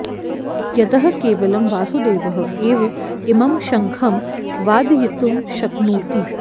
यतः केवलं वासुदेवः एव इमं शङ्खं वादयितुं शक्नोति